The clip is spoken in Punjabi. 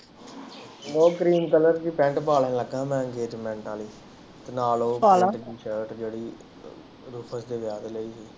ਉਹ ਗ੍ਰੀਨ ਕਲਰ ਦੀ ਪੇਂਟ ਪਾਉਣ ਲੱਗਾ ਮੈਂ ਇੰਗਜਮੈਂਟ ਆਲੀ ਨਾਲੇ ਉਹ ਸ਼ਲਤ ਜਿਹੜੀ ਰੂਪ ਅੱਗੇ ਜਾਕੇ ਲਈ ਸੀ